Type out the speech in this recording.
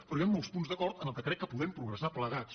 però hi han molts punts d’acord en què crec que podem progressar plegats